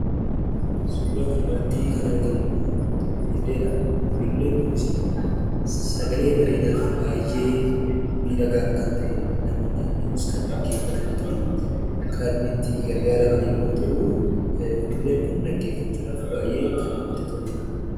Suuraa kanarratti kan argamu immoo ulullee dha. Ululleen kunisii sagalee bareedaa fi baay'ee miidhagaa kan ta'e namoonni hedduunis kan dhaggeeffatanii fi kan itti gargaaraman yommuu ta'u, ululleen kun dhaggeeffachuudhaaf baay'ee kan namatti toluudha.